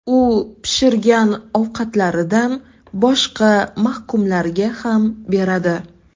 U pishirgan ovqatlaridan boshqa mahkumlarga ham beradi.